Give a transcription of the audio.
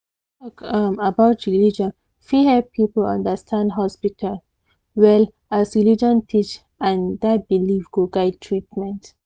talk um about religion fit help people understand hospital well as religion teach and that belief go guide treatment